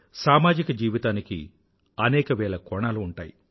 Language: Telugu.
సామాజిక జీవితానికి అనేక వేల కోణాలు ఉంటాయి